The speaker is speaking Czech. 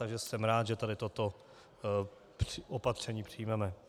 Takže jsem rád, že tady toto opatření přijmeme.